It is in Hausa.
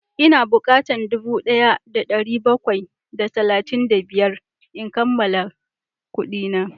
Ina bukatan dubu daya da dari bakwai da sittin da biyar in kammala kudina